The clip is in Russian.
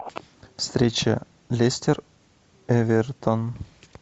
встреча лестер эвертон